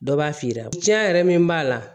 Dɔ b'a f'i ɲɛnɛ tiɲɛn yɛrɛ min b'a la